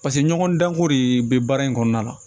Paseke ɲɔgɔndanko de bɛ baara in kɔnɔna na